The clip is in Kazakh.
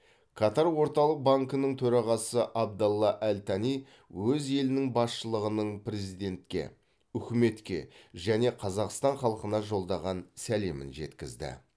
катар орталық банкінің төрағасы абдалла әл тани өз елінің басшылығының президентке үкіметке және қазақстан халқына жолдаған сәлемін жеткізді